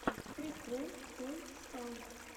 прикол той скаут